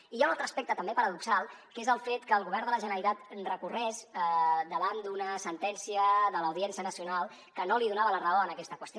i hi ha un altre aspecte també paradoxal que és el fet que el govern de la generalitat recorregués davant d’una sentència de l’audiència nacional que no li donava la raó en aquesta qüestió